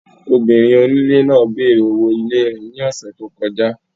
Obìnrin onílé náà bèèrè owó ilé rẹ̀ ní ọ̀ṣẹ̀ tí ó kọjá.